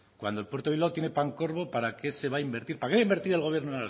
cuando el puerto de bilbao tiene pancorbo para qué se va invertir para que va a invertir el gobierno